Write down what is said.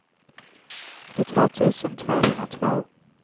trettiotvå tusen tvåhundratvå